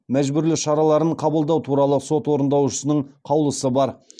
мәжбүрлеу шараларын қабылдау туралы сот орындаушысының қаулысы бар